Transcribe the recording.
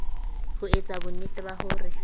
ho etsa bonnete ba hore